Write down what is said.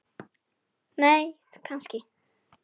nei kannski